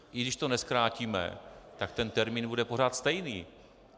I když to nezkrátíme, tak ten termín bude pořád stejný.